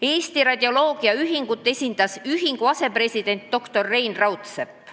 Eesti Radioloogia Ühingut esindas selle asepresident doktor Rein Raudsepp.